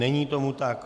Není tomu tak.